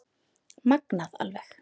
Magnað alveg